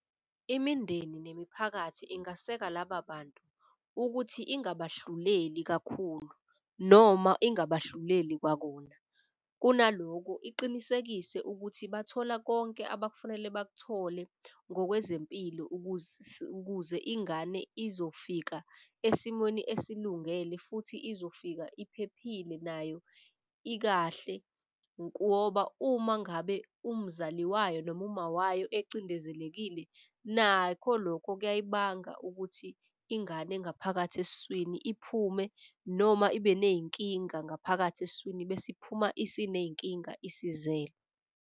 Imindeni nemiphakathi ingaseka laba bantu ukuthi ingaba hluleli kakhulu noma ingaba hluleli kwakona. Kunaloko iqinisekise ukuthi bathola konke abakufunele bakuthole ngokwezempilo ukuze ingane izofika esimweni esilungele. Futhi izofika iphephile nayo ikahle ngoba uma ngabe umzali wayo noma umawayo ecindezelekile. Nakho lokho kuyibanga ukuthi ingane engaphakathi esiswini iphume noma ibe ney'nkinga ngaphakathi esiswini. Bese iphuma isiney'nkinga isizelwe.